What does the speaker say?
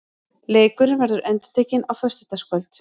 Leikurinn verður endurtekinn á þriðjudagskvöld.